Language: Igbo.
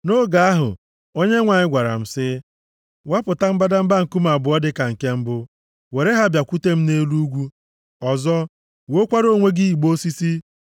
Nʼoge ahụ, Onyenwe anyị gwara m, sị, “Wapụta mbadamba nkume abụọ dịka nke mbụ, were ha bịakwute m nʼelu ugwu. Ọzọ, wuokwara onwe gị igbe osisi.